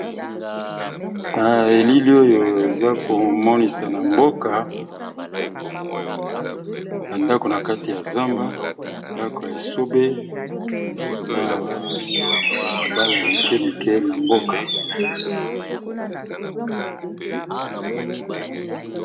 Na elili oyo eza komonisa ndako ya mboka nakati ya zamba ndako esobe na balabala mike mike ya mboka.